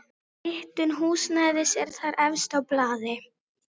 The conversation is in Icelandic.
Hitun húsnæðis er þar efst á blaði.